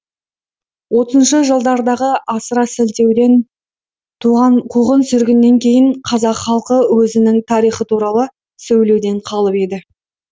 отызыншы жылдардағы асыра сілтеуден туған қуғын сүргіннен кейін қазақ халқы өзінің тарихы туралы сөйлеуден қалып еді